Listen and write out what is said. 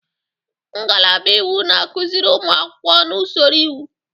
Ngalaba iwu na-akụziri ụmụ akwụkwọ na usoro iwu.